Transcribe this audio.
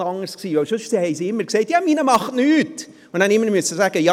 Sonst haben sie immer gesagt, «Meiner macht nichts!», und ich musste immer sagen: «